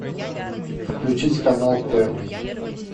включить канал первый